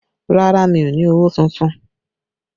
Rárá, mi ò ní owó tuntun